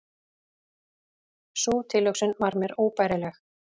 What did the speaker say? Sú tilhugsun var mér óbærileg.